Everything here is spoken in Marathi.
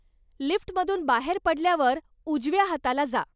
लिफ्टमधून बाहेर पडल्यावर उजव्या हाताला जा.